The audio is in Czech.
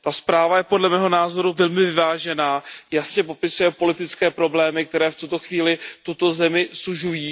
Ta zpráva je podle mého názoru velmi vyvážená, jasně popisuje politické problémy, které v tuto chvíli tuto zemi sužují.